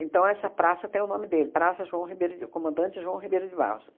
Então, essa praça tem o nome dele, Praça João Ribeiro de Comandante João Ribeiro de Barros.